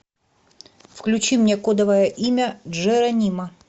включи мне кодовое имя джеронимо